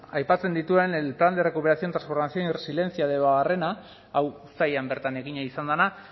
aipatzen dituen el plan de recuperación transformación y resiliencia debabarrena hau sailean bertan egina izan dena